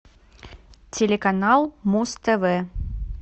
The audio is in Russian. телеканал муз тв